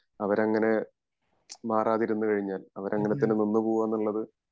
അവരങ്ങനെ മാറാതിരുന്നു കഴിഞ്ഞാൽ അവരങ്ങനെ തന്നെ നിന്ന് പോവ എന്നുള്ളത്